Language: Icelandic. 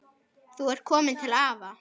Þú ert komin til afa.